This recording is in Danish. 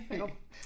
Jo